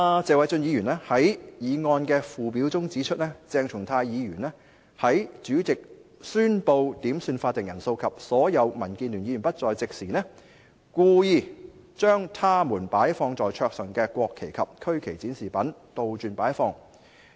謝偉俊議員在議案的附表中指出，"鄭松泰議員在主席宣布點算法定人數及所有民建聯議員不在席時，故意將他們擺放在桌上的國旗及區旗展示品倒轉擺放。